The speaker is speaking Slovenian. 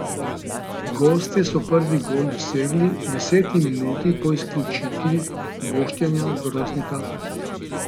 Gostje so prvi gol dosegli v deseti minuti ob izključitvi Boštjana Groznika.